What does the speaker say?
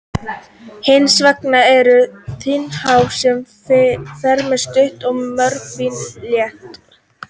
Hins vegar eru þelhár sem eru fremur stutt og mjög fín og létt.